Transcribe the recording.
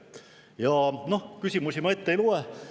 Ja noh, küsimusi ma ette ei loe.